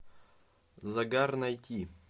загар найти